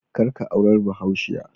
Kar ka aurar bahaushiya